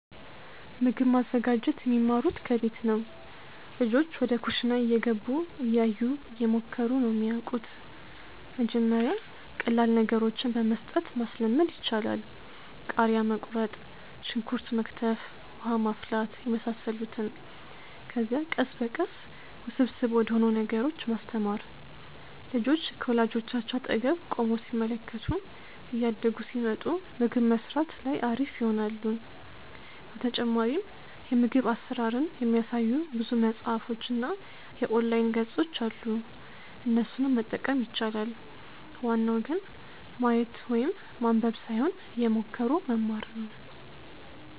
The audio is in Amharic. ምግብ ማዘጋጀት የሚማሩት ከቤት ነው። ልጆች ወደ ኩሽና እየገቡ፣ እያዩ፣ እየሞከሩ ነው የሚያወቁት። መጀመሪያ ቀላል ነገሮችን በመስጠት ማስለመድ ይቻላል። ቃሪያ መቁረጥ፣ ሽንኩርት መክተፍ፣ ውሃ ማፍላት የመሳሰሉትን። ከዚያ ቀስ በቀስ ውስብስብ ወደሆኑ ነገሮች ማስተማር። ልጆች ከወላጆቻቸው አጠገብ ቆመው ሲመለከቱ እያደጉ ሲመጡ ምግብ መስራት ላይ አሪፍ ይሆናሉ። በተጨማሪም የምግብ አሰራርን የሚያሳዩ ብዙ መፅሀፎች እና የኦንላይን ገፆች አሉ እነሱንም መጠቀም ይቻላል። ዋናው ግን ማየት ወይም ማንበብ ሳይሆን እየሞከሩ መማር ነው